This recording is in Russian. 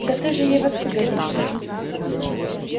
да ты же ей в отцы годишься